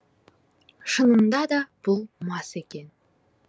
шынында да бұл мас екен